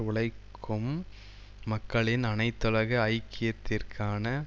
உழைக்கும் மக்களின் அனைத்துலக ஐக்கியத்திற்கான